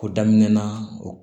O daminɛna o